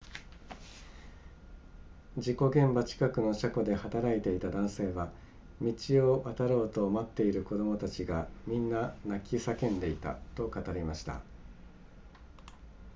事故現場近くの車庫で働いていた男性は、「道を渡ろうと待っている子供たちがみんな泣き叫んでいた」と語りました